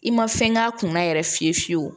I ma fɛn k'a kunna yɛrɛ fiyewu fiyewu